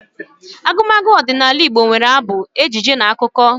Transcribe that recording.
Agumagu ọdịnala Igbo nwere abụ, ejije na akụkọ